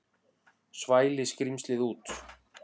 Svæli skrímslið út.